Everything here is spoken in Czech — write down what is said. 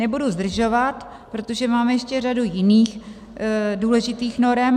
Nebudu zdržovat, protože máme ještě řadu jiných důležitých norem.